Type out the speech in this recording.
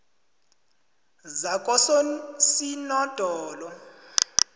zakososinodolo